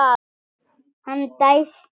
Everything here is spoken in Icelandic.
Hann dæsti.